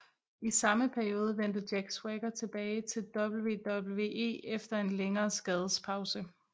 I samme periode vendte Jack Swagger tilbage til WWE efter en længere skadespause